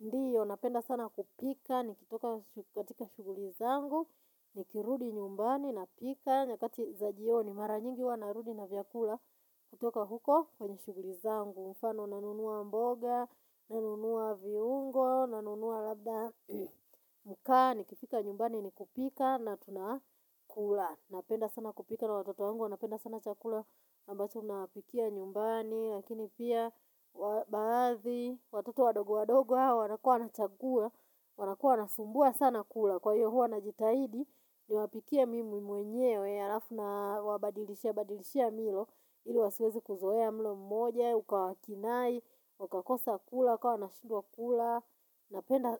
Ndiob, napenda sana kupika, nikitoka katika shuguli zangu, nikirudi nyumbani napika, nyakati za jioni maranyingi huwa narudi na vyakula kutoka huko kwenye shughuli zangu mfano nanunua mboga, nanunua viungo, nanunua labda makaa nikifika nyumbani nikupika na tunakula. Napenda sana kupika na watoto wangu wanapenda sana chakula ambacho nawapikia nyumbani. Lakini pia baadhi watoto wadogo wadogo hawa wanakua wanachagua wanakua wanasumbua sana kula. Kwa hio huwa najitahidi, niwapikie mimi mwenyewe halafu nawabadilishia badilishia milo. Ili siwezi kuzoea mlo mmoja, uka wakinai wakakosa kula wakawa wanashidwa kula.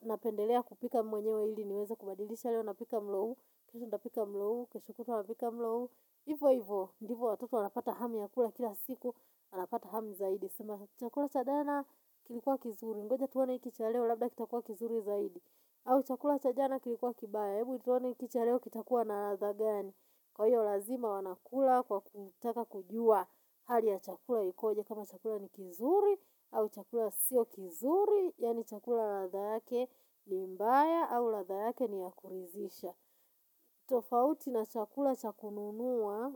Napendelea kupika mwenyewe ili niweze kubadilishia leo napika mlo huu, kesho nitapika mlo huu, kesho kutwa napika mlo huu. Hivo hivo, ndivyo watoto wanapata hamu ya kula kila siku Wanapata hamu zaidi. Chakula cha jana kilikuwa kizuri. Ngoja tuone hiki cha leo labda kitakuwa kizuri zaidi. Au chakula cha jana kilikuwa kibaya Hebu tuone hikii cha leo kitakuwa na ladha gani, Kwa hio lazima wanakula kwa kutaka kujua Hali ya chakula ikoje kama chakula ni kizuri au chakula sio kizuri Yaani chakula ladha yake ni mbaya au ladha yake ni ya kuridhisha tofauti na chakula cha kununua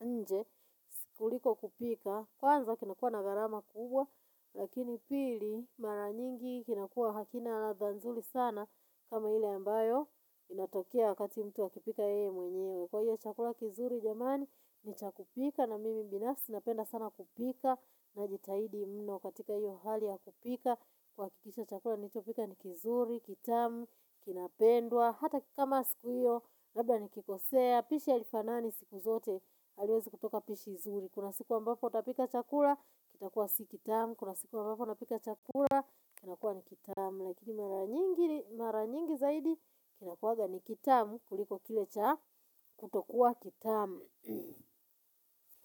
nje, kuliko kupika, kwanza kinakuwa na gharama kubwa, lakini pili mara nyingi kinakuwa hakina ladha nzuri sana kama ile ambayo inatokea wakati mtu akipika yeye mwenyewe. Kwa hio chakula kizuri jamani ni cha kupikwa na mimi binasi napenda sana kupika na jitahidi mno katika hio hali ya kupika kuhakikisha chakula nilichopika ni kizuri, kitamu, kinapendwa hata kikama siku hio, labda nikikosea, pishi halifanani siku zote, haliwezi kutoka pishi zuri. Kuna siku ambapo utapika chakula, kitakuwa si kitamu. Kuna siku ambapo utapika chakula kinakuwa ni kitamu Lakini mara nyingi zaidi, kinakuwa ni kitamu kuliko kile cha kutokuwa kitamu.